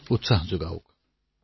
মীম প্ৰতিযোগিতাও হব